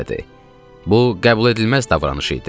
Bu qəbul edilməz davranış idi.